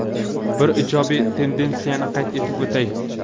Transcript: Bir ijobiy tendensiyani qayd etib o‘tay.